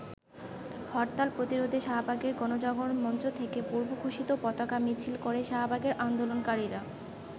হরতাল প্রতিরোধে শাহবাগের গণজাগরণ মঞ্চ থেকে পূর্বঘোষিত পতাকা মিছিল করে শাহবাগের আন্দোলনকারীরা।